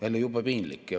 Jälle jube piinlik.